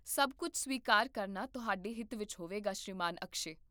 ਸਭ ਕੁੱਝ ਸਵੀਕਾਰ ਕਰਨਾ ਤੁਹਾਡੇ ਹਿੱਤ ਵਿੱਚ ਹੋਵੇਗਾ, ਸ਼੍ਰੀਮਾਨ ਅਕਸ਼ੈ